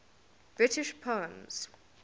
british poems